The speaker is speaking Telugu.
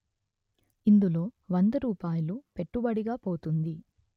ఇందులో వంద రూపాయిలు పెట్టుబడిగా పోతుంది